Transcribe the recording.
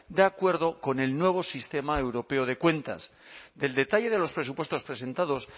de acuerdo con el nuevo sistema europeo de cuentas del detalle de los presupuestos presentados